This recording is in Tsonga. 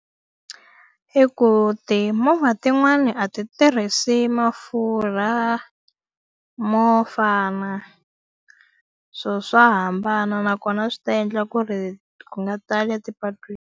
I ku timovha tin'wani a ti tirhisi mafurha mo fana. So swa hambana nakona swi ta endla ku ri ku nga tala ti patwini.